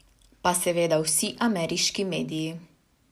Pa seveda vsi ameriški mediji.